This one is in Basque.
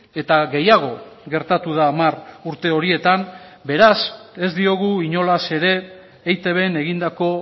eta gehiago gertatu da hamar urte horietan beraz ez diogu inolaz ere eitbn egindako